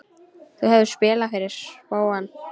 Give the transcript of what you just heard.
Þú hefur spilað fyrir spóann?